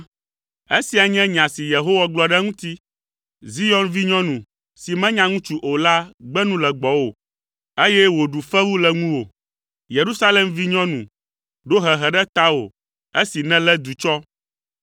esia nye nya si Yehowa gblɔ ɖe eŋuti.’ “Zion vinyɔnu si menya ŋutsu o la gbe nu le gbɔwò, eye wòɖu fewu le ŋuwò. Yerusalem vinyɔnu ɖo hehe ɖe tawò esi nèlé du tsɔ.